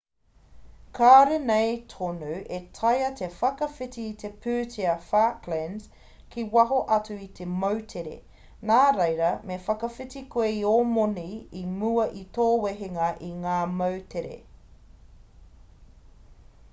kāore nei tonu e taea te whakawhiti i te pūtea falklands ki waho atu o te moutere nā reira me whakawhiti koe i ō moni i mua i tō wehenga i ngā moutere